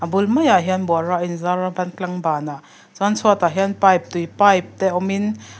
a bul mai ah hian bawra a in zar ban tlang ban ah chuan chhuatah hian pipe tui pipe te awmin--